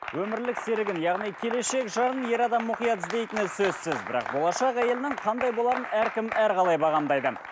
өмірлік серігін яғни келешек жарын ер адам мұқият іздейтіні сөзсіз бірақ болашақ әйелінің қандай боларын әркім әрқалай бағамдайды